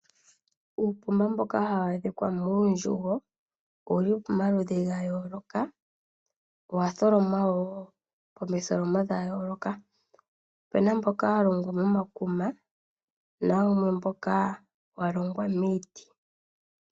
Uukuma mboka hawu adhika muundjugo owuli pimaludhi ga yooloka, owatholomwa woo momitholomo dha yooka . Opena mboka walongwa momakuma nawumwe mboka walongwa miiti